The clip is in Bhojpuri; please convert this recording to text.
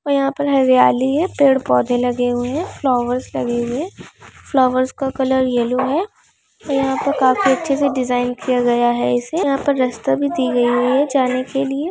और यहाँ पे हरियाली है पेड़ पौधे लगे हुए हैंफ्लावर्स लगे हैं। फ्लावर्स का कलर येलो हैयहाँ पे काफी अच्छे से डिज़ाइन किया गया है। इसे यहाँ पर रास्ता भी दी गयी है जाने के लिए।